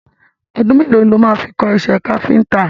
Ọdún mẹ́lòó lo ló máa fi kọ́ iṣẹ́ káfíntà?